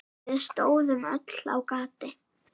Við stóðum öll á gati.